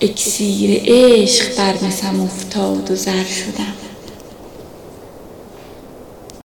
اکسیر عشق بر مسم افتاد و زر شدم